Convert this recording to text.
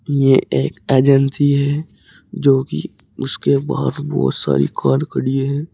यह एक एजेंसी है जो कि उसके पास बहुत सारी कार खड़ी है।